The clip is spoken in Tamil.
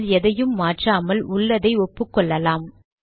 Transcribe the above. இதில் எதையும் மாற்றாமல் உள்ளதை ஒப்புக்கொள்ளலாம்